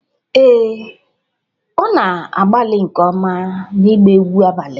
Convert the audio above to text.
Ee, ọ na-agbalị nke ọma n'ịgba egwu abalị